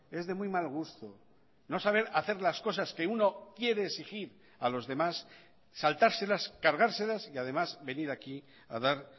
es de muy mal gusto no saber hacer las cosas que uno quiere exigir a los demás saltárselas cargárselas y además venir aquí a dar